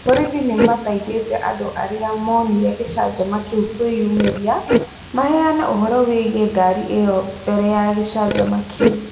Borithi nĩ mathaithĩte andũ arĩa monire gĩcanjama kĩu kũĩyumĩria, maheane ũhoro wĩgiĩ ngari ĩyo mbere ya gĩcanjama kĩu.